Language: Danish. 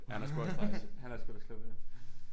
Han er sgu også nice han er sgu også klog ja